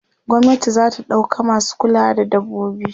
gwamnati zata ɗauka masu kulawa da dabbobi